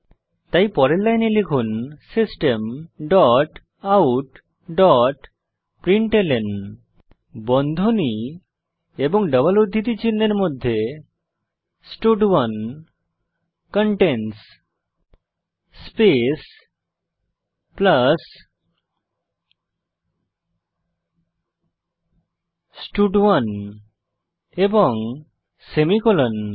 তাই পরের লাইনে লিখুন system dot out dot println বন্ধনী ও ডবল উদ্ধৃতি চিনহের মধ্যে স্টাড1 কন্টেইনস স্পেস প্লাস স্টাড1 এবং সেমিকোলন